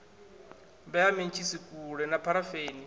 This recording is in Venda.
vhea mentshisi kule na pharafeni